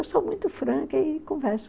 Eu sou muito franca e converso.